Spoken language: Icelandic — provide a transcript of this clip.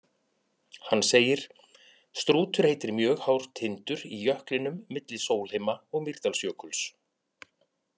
Hann segir: Strútur heitir mjög hár tindur í jöklinum milli Sólheima- og Mýrdalsjökuls.